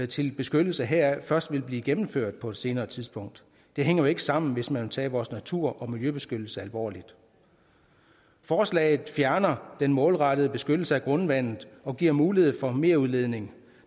til beskyttelse heraf først vil blive gennemført på et senere tidspunkt det hænger jo ikke sammen hvis man vil tage vores natur og miljøbeskyttelse alvorligt forslaget fjerner den målrettede beskyttelse af grundvandet og giver mulighed for merudledning